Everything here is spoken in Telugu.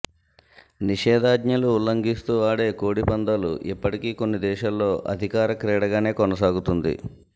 నిషేధాజ్ఞలు ఉల్లంఘిస్తూ ఆడే కోడిపందాలు ఇప్పటికీ కొన్ని దేశాల్లో అధికార క్రీడగానే కొనసాగుతుంది